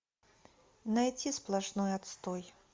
найти сплошной отстой